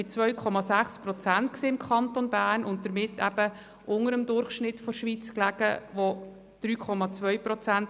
Mit 2,6 Prozent im Kanton Bern lag sie unter dem Durchschnitt der Schweiz von 3,2 Prozent.